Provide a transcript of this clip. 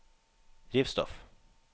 drivstoff